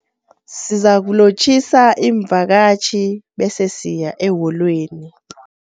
Sizakulotjhisa iimvakatjhi bese siya eholweni.